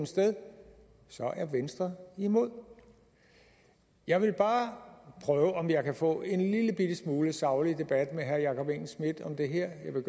sted er venstre imod jeg vil bare prøve om jeg kan få en lillebitte smule saglig debat med herre jakob engel schmidt om det her jeg vil